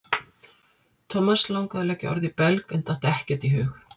Thomas langaði að leggja orð í belg en datt ekkert í hug.